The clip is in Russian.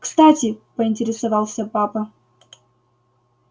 кстати поинтересовался папа